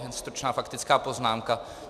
Jen stručná faktická poznámka.